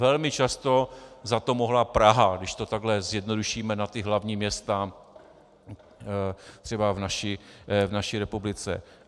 Velmi často za to mohla Praha, když to takhle zjednodušíme na ta hlavní města třeba v naší republice.